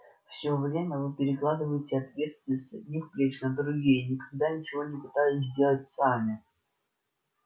всё время вы перекладываете ответственность с одних плеч на другие и никогда ничего не пытались сделать сами